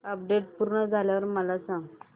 update पूर्ण झाल्यावर मला सांग